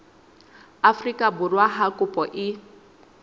afrika borwa ha kopo e